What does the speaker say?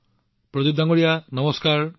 প্ৰদীপ জী নমস্কাৰ